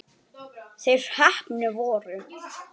Þeir heppnu voru